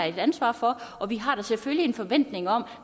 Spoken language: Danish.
et ansvar for og vi har da selvfølgelig en forventning om